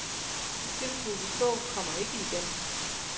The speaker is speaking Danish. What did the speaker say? De tilbud vi så, kommer ikke igen.